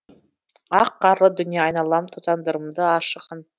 ақ қарлы дүние айналам тозаңдарымды аршыған